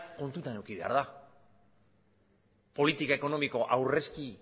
kontutan eduki behar da politika ekonomiko aurrezki